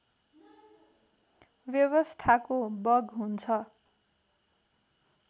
व्यवस्थाको बग हुन्छ